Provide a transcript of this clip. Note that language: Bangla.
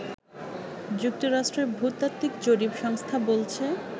যুক্তরাষ্ট্রের ভূতাত্ত্বিক জরিপ সংস্থা বলছে